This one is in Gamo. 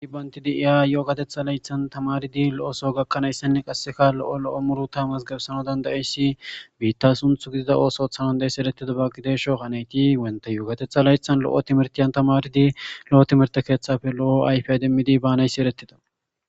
Ai bantidi iya yo'okatetha laythan tamaridi lo'oso gakkanayssenne qasseka lo'o lo'o muru tamas gabsano dandayessi biitta sunthu gidida oosothanandayessi erettida ba gideesho hanayti wenta yookatetha laythan lo'o timertiyan tamaridi lo'o timerte keeththafe lo'o ayfi demmidi baanayssi eretida.